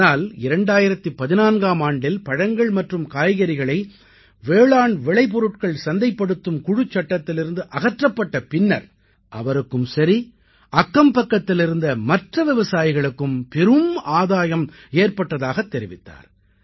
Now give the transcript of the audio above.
ஆனால் 2014ஆம் ஆண்டில் பழங்கள் மற்றும் காய்கறிகளை வேளாண் விளைபொருட்கள் சந்தைப்படுத்தும் குழுச் சட்டத்திலிருந்து அகற்றப்பட்ட பின்னர் அவருக்கும் சரி அக்கம்பக்கத்திலிருந்த மற்ற விவசாயிகளுக்கும் பெரும் ஆதாயம் ஏற்பட்டதாகத் தெரிவித்தார்